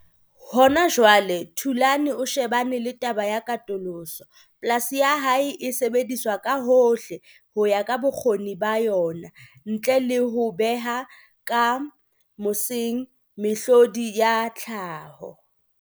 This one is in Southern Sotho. Hona jwale Thulan o tshebane le taba ya katoloso. Polasi ya hae e sebediswa ka hohle ho ya ka bokgoni ba yona ntle le ho beha ka mosing mehlodi ya tlhaho.